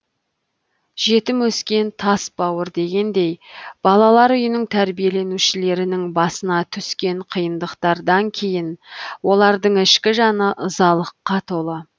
жетім өскен тас бауыр дегендей балалар үйінің тәрбиеленушілерінің басына түскен қиындықтардан кейін олардың ішкі жаны ызалыққа толы